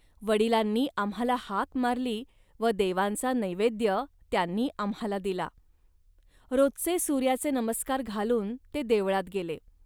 वडिलांनी आम्हांला हाक मारली व देवांचा नैवेद्य त्यांनी आम्हांला दिला. रोजचे सूर्याचे नमस्कार घालून ते देवळात गेले